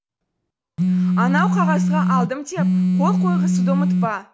анау қағазға алдым деп қол қойғызуды ұмытпа